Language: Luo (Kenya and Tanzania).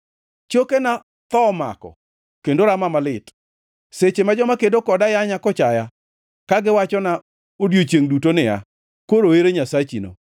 Chokena tho omako kendo rama malit seche ma joma kedo koda yanya kochaya, ka giwachona odiechiengʼ duto niya, “Koro ere Nyasachino?”